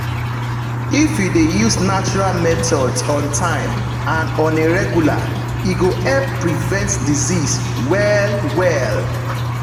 if you dey use natural methods on time and on a regular e go help prevent disease well-well.